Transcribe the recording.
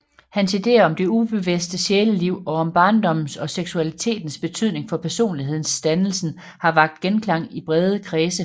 Hans ideer om det ubevidste sjæleliv og om barndommens og seksualitetens betydning for personlighedsdannelsen har vakt genklang i brede kredse